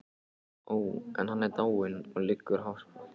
Ó, en hann er dáinn, og liggur á hafsbotni.